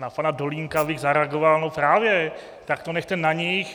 Na pana Dolínka bych zareagoval: No právě, tak to nechte na nich!